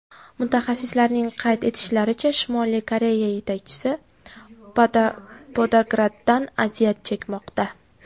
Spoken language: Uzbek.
Mutaxassislarning qayd etishlaricha, Shimoliy Koreya yetakchisi podagradan aziyat chekmoqda.